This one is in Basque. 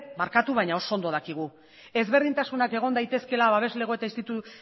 barkatu baina oso ondo dakigu ezberdintasunak egon daitezkeela babeslego